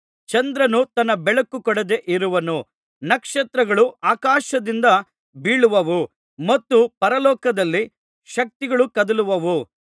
ಚಂದ್ರನು ತನ್ನ ಬೆಳಕು ಕೊಡದೆ ಇರುವನು ನಕ್ಷತ್ರಗಳು ಆಕಾಶದಿಂದ ಬೀಳುವವು ಮತ್ತು ಪರಲೋಕದಲ್ಲಿ ಶಕ್ತಿಗಳು ಕದಲುವವು